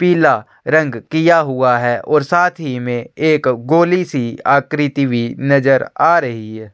पीला रंग किया हुआ है और साथ ही में एक गोली सी आकृति भी नज़र आ रही हैं।